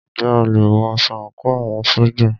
Ǹjẹ́ a lè wọ aṣọ àńkò àwọn ṣójà?